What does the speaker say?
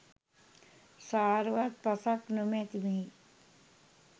සාරවත් පසක් නොමැති මෙහි